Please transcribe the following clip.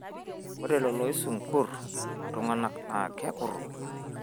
ore lelo oisungurr ilung'anak naa kekurru